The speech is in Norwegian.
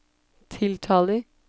tiltaler